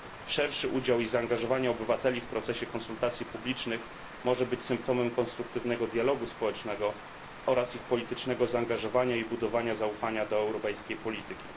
Szerszy udział i zaangażowanie obywateli w procesie konsultacji publicznych może być symptomem konstruktywnego dialogu społecznego oraz ich politycznego zaangażowania i budowania zaufania do europejskiej polityki.